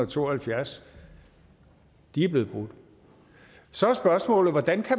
to og halvfjerds er blevet brudt så er spørgsmålet hvordan